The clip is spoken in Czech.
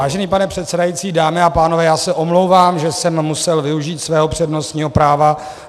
Vážený pane předsedající, dámy a pánové, já se omlouvám, že jsem musel využít svého přednostního práva.